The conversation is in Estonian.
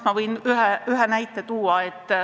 Ma võin tuua ühe näite.